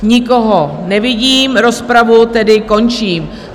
Nikoho nevidím, rozpravu tedy končím.